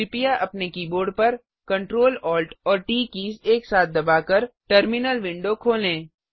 कृपया अपने कीबोर्ड पर Ctrl Alt और ट कीज एक साथ दबाकर टर्मिनल विंडो खोलें